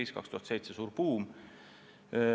Aastal 2007 oli suur buum.